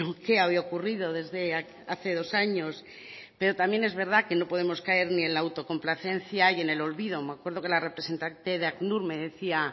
qué había ocurrido desde hace dos años pero también es verdad que no podemos caer ni en la autocomplacencia y en el olvido me acuerdo que la representante de acnur me decía